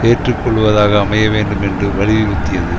ஏற்றுக்கொள்வதாக அமைய வேண்டும் என்று வலியுறுத்தியது